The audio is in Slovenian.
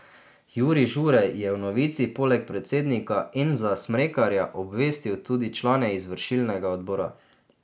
Jurij Žurej je o novici poleg predsednika Enza Smrekarja obvestil tudi člane izvršilnega odbora.